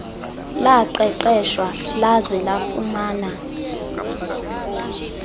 laqeqeshwa laze lafumana